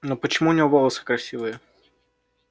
но почему у него волосы красивые